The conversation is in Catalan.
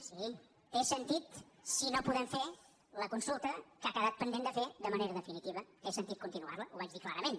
sí té sentit si no podem fer la consulta que ha quedat pendent de fer de manera definitiva té sentit continuar la ho vaig dir clarament